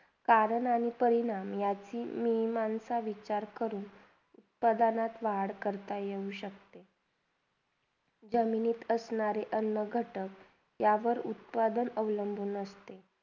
कारण आणि पहिलायाची माणसं मी विचार करून उत्पादनात लार करू शकता येते जमिनीत असणारे अन्नघटक यावर उत्पादन केले असते